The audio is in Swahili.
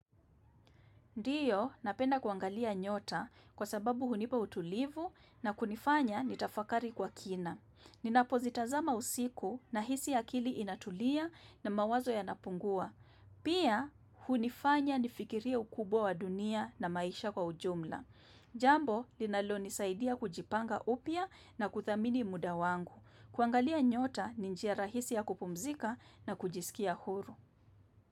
Ndiyo, napenda kuangalia nyota kwa sababu hunipa utulivu na kunifanya nitafakari kwa kina. Ninapo zitazama usiku nahisi akili inatulia na mawazo yanapungua. Pia, hunifanya nifikirie ukubwa wa dunia na maisha kwa ujumla. Jambo, linalo nisaidia kujipanga upya na kudhamini muda wangu. Kuangalia nyota ni njia rahisi ya kupumzika na kujiskia huru.